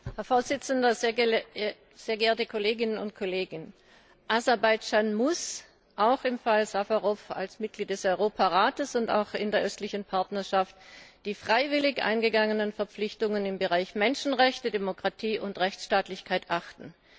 Herr Präsident, sehr geehrte Kolleginnen und Kollegen! Aserbaidschan muss im Fall Safarow als Mitglied des Europarats und auch in der östlichen Partnerschaft die freiwillig eingegangenen Verpflichtungen im Bereich Menschenrechte, Demokratie und Rechtsstaatlichkeit achten.